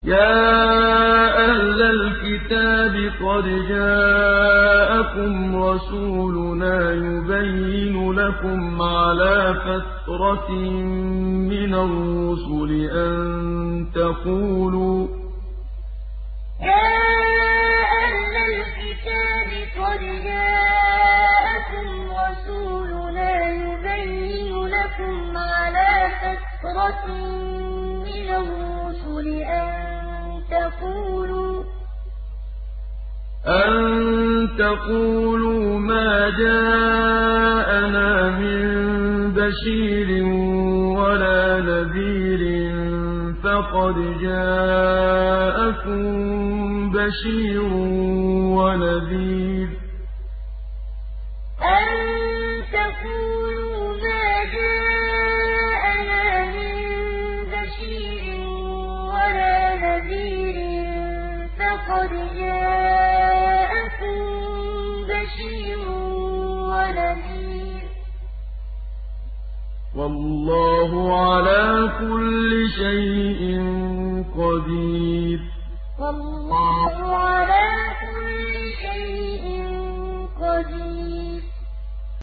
يَا أَهْلَ الْكِتَابِ قَدْ جَاءَكُمْ رَسُولُنَا يُبَيِّنُ لَكُمْ عَلَىٰ فَتْرَةٍ مِّنَ الرُّسُلِ أَن تَقُولُوا مَا جَاءَنَا مِن بَشِيرٍ وَلَا نَذِيرٍ ۖ فَقَدْ جَاءَكُم بَشِيرٌ وَنَذِيرٌ ۗ وَاللَّهُ عَلَىٰ كُلِّ شَيْءٍ قَدِيرٌ يَا أَهْلَ الْكِتَابِ قَدْ جَاءَكُمْ رَسُولُنَا يُبَيِّنُ لَكُمْ عَلَىٰ فَتْرَةٍ مِّنَ الرُّسُلِ أَن تَقُولُوا مَا جَاءَنَا مِن بَشِيرٍ وَلَا نَذِيرٍ ۖ فَقَدْ جَاءَكُم بَشِيرٌ وَنَذِيرٌ ۗ وَاللَّهُ عَلَىٰ كُلِّ شَيْءٍ قَدِيرٌ